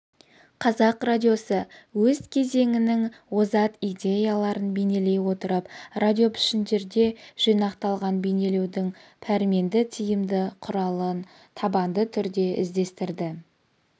қазақ радиосы өз кезеңінің озат идеяларын бейнелей отырып радиопішіндерде жинақталған бейнелеудің пәрменді тиімді құралын табанды түрде іздестірді